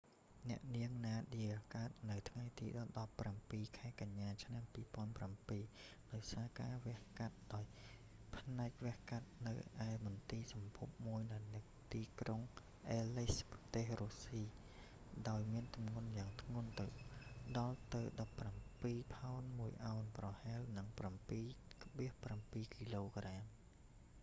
អ្នកនាងណាឌៀ nadia កើតនៅថ្ងៃទី១៧ ខែកញ្ញា ឆ្នាំ២០០៧ ដោយការវះដោយផ្នែកវះកាត់នៅឯមន្ទីរសម្ភពមួយនៅក្រុងអ៊ែលលេសក៍ aleisk ប្រទេសរុស្ស៊ី ដោយមានទម្ងន់យ៉ាងធ្ងន់ដល់ទៅ១៧ ផោន ១ អោន ប្រហែល ៧.៧ គ.ក។